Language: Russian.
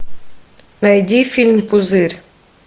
найди фильм пузырь